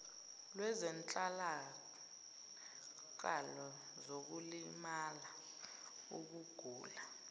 lwezehlakalo zokulimala ukugula